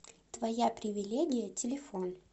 твояпривилегия телефон